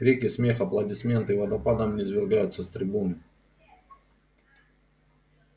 крики смех аплодисменты водопадом извергаются с трибуны